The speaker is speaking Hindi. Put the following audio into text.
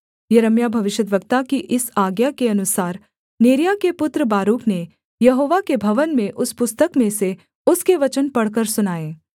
यिर्मयाह भविष्यद्वक्ता की इस आज्ञा के अनुसार नेरिय्याह के पुत्र बारूक ने यहोवा के भवन में उस पुस्तक में से उसके वचन पढ़कर सुनाए